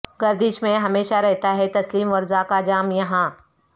گردش میں ہمیشہ رہتا ہے تسلیم ورضا کا جام یہاں